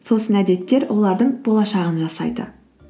сосын әдеттер олардың болашағын жасайды